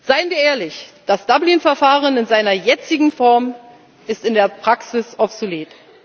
Seien wir ehrlich Das Dublin Verfahren in seiner jetzigen Form ist in der Praxis obsolet.